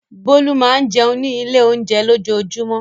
Bólú máa ń jẹun ní ilé-oúnjẹ lójoojúmọ́.